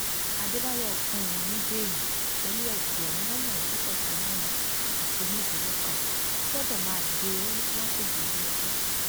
àdébáyò fún un ní bẹẹlí pẹlú ẹgbẹrún lọnà ẹẹdẹgbẹta náírà àti onídùúró kan tó gbọdọ máa gbé lágbègbè iléẹjọ